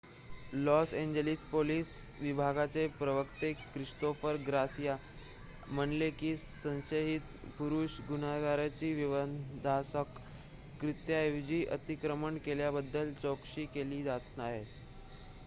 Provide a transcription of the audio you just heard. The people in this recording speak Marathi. लॉस एंजेलिस पोलिस विभागाचे प्रवक्ते ख्रिस्तोफर गार्सिया म्हणाले की संशयित पुरुष गुन्हेगाराची विध्वंसक कृत्याऐवजी अतिक्रमण केल्याबद्दल चौकशी केली जात आहे